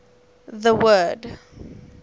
the word